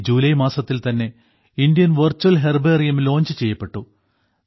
ഈ ജൂലൈ മാസത്തിൽ തന്നെ ഇന്ത്യൻ വെർച്വൽ ഹെർബേറിയം ലോഞ്ച് ചെയ്യപ്പെട്ടു